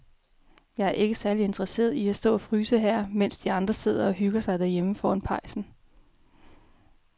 Jeg er ikke særlig interesseret i at stå og fryse her, mens de andre sidder og hygger sig derhjemme foran pejsen.